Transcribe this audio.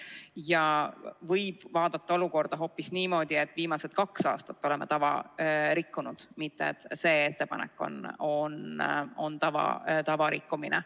Olukorda võib vaadata hoopis niimoodi, et viimased kaks aastat oleme tava rikkunud, mitte et see ettepanek on tava rikkumine.